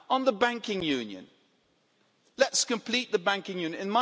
On the banking union let's complete the banking union.